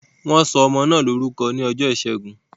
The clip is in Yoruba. Wọn sọ ọmọ náà lórúkọ ní ọjọ́ ìṣẹ́gun